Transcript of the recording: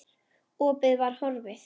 Opið var horfið.